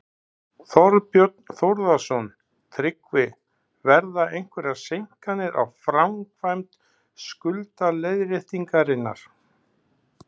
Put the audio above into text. Þorbjörn Þórðarson: Tryggvi, verða einhverjar seinkanir á framkvæmd skuldaleiðréttingarinnar?